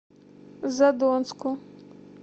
задонску